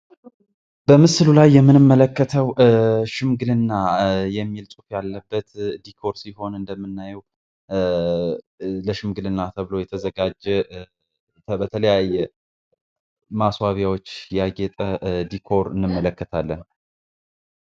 በምስሉ ላይ የምንመለከተው ሽምግልና የሚል ያለበት ዲኮር ሲሆን እንደምናየው ለሽምግልና ተብሎ የተዘጋጀ በተለያየ ማስዋቢያዎች ያጌጠ ዲኮር እንመለከታለን